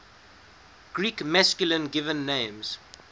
greek masculine given names